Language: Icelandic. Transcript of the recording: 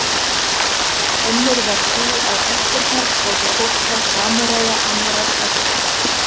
Önnur var sú að ættirnar gátu fóstrað samúræja annarrar ættar.